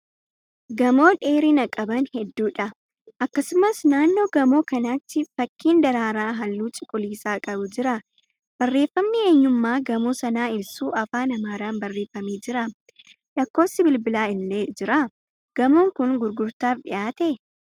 Gamoo dheerina qaban heedduudha. Akkasumas naannoo gamoo kanaatti fakkiin daraaraa halluu cuquliisa qabu jira. Barreeffamni eenyummaa gamoo sanaa ibsu Afaan Amaaraan barreeffamee jira. lakkoofsi bilbilaa illee jira. Gamoon kun gurgurtaaf dhiyaatee?